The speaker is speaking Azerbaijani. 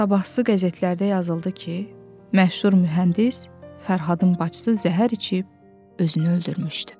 Sabahsı qəzetlərdə yazıldı ki, məşhur mühəndis Fərhadın bacısı zəhər içib özünü öldürmüşdü.